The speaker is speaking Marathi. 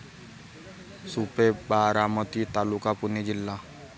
सुपे, बारामती तालुका. पुणे जिल्हा